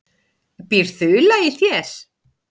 Býr ÞULA í þér?